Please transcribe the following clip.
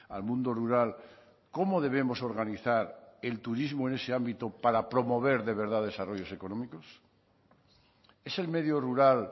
al mundo rural cómo debemos organizar el turismo en ese ámbito para promover de verdad desarrollos económicos es el medio rural